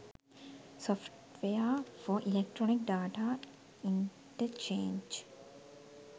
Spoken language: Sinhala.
software for electronic data interchange